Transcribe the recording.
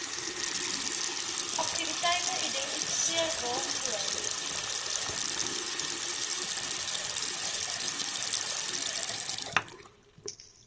aktiwiteite identifiseer waarvoor